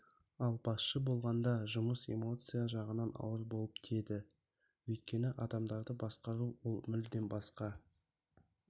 ал басшы болғанда жұмыс эмоция жағынан ауыр болып тиеді өйткені адамдарды басқару ол мүлдем басқа